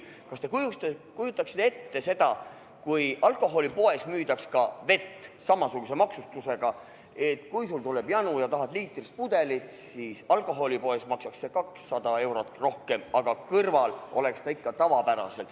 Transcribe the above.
Kas te kujutate ette seda, et alkoholipoes müüdaks ka vett samasuguse maksustusega, nii et kui sul tuleb janu ja tahad liitrist pudelit, siis alkoholipoes maksaks see 200 eurot rohkem kui kõrval olevas tavapoes?